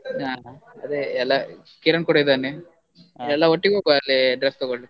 bgSpeach ಹಾ ಅದೇ ಎಲ್ಲ ಕಿರಣ್ ಕೂಡ ಇದ್ದಾನೆ, ಎಲ್ಲ ಒಟ್ಟಿಗೆ ಹೋಗ್ವ ಅಲ್ಲಿ dress ತಗೋಳ್ಳಿಕ್ಕೆ.